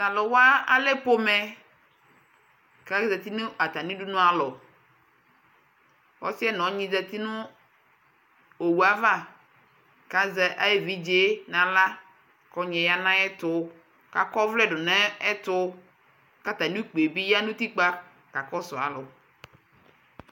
talʋ wa alɛ pɔmɛ kʋ azati nʋ atami dʋnʋ alɔ, ɔsiiɛ nʋ ɔnyi zati nʋ ɔwʋɛ aɣa kʋ azɛ ayi ɛvidzɛ nʋ ala kʋ ɔnyiɛ yanʋ ayɛtʋ kʋ akɔ ɔvlɛ dʋnʋ ɛtʋ kʋ atami ʋkpiɛ yanʋ ʋtikpa kakɔsʋ alʋ